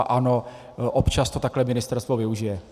A ano, občas to takhle ministerstvo využije.